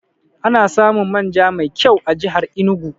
Ana samun man ja mai kyau a jihar Enugu